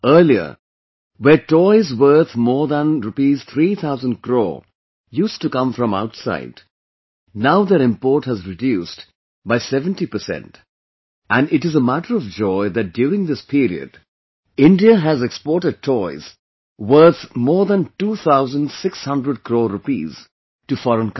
Earlier, where toys worth more than Rs 3 thousand crore used to come from outside, now their import has reduced by 70 percent and it is a matter of joy that during this period, India has exported toys worth more than two thousand six hundred crore rupees to foreign countries